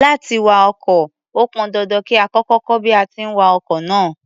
Láti wa ọkọ̀, ó pọn dandan kí a kọ́kọ́ kọ́ bí a ti ń wa ọkọ̀ náà.